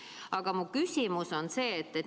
Aga mu küsimus on see.